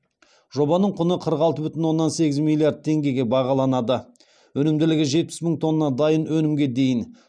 жобаның құны қырық алты бүтін оннан сегіз миллиард теңгеге бағаланады өнімділігі жетпіс мың тонна дайын өнімге дейін